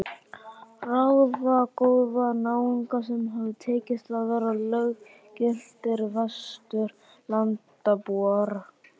Ráðagóða náunga sem hafði tekist að verða löggiltir Vesturlandabúar.